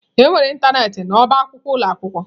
Enwere ịntanetị n'ọba akwụkwọ ụlọ akwụkwọ?